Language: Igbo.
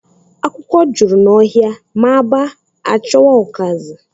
Akwụkwọ jụrụ n'ohia ma a ba'a a chowa okazi.